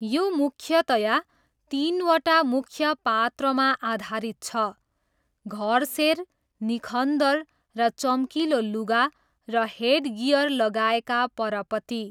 यो मुख्यतया तिनवटा मुख्य पात्रमा आधारित छ, घरसेर, निखन्दर र चम्किलो लुगा र हेडगियर लगाएका परपति।